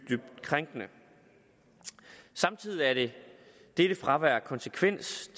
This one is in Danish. krænkede samtidig er dette fravær af konsekvens